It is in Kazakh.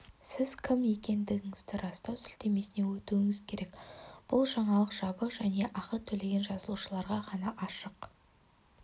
сіз кім екендігіңізді растау сілтемесіне өтуіңіз керек бұл жаңалық жабық және ақы төлеген жазылушыларға ғана ашық